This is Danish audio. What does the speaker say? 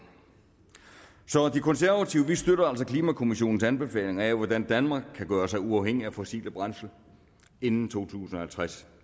så de konservative støtter altså klimakommissionens anbefalinger af hvordan danmark kan gøre sig uafhængig af fossile brændsler inden to tusind og halvtreds